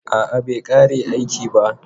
A'a bai ƙare aiki ba.